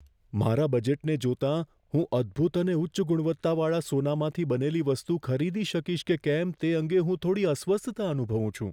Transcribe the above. મારા બજેટને જોતાં, હું અદ્ભૂત અને ઉચ્ચ ગુણવત્તાવાળા સોનામાંથી બનેલી વસ્તુ ખરીદી શકીશ કે કેમ તે અંગે હું થોડી અસ્વસ્થતા અનુભવું છું.